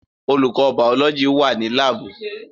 Olùkọ́ bàọ́lọ́jì wà ní láàbù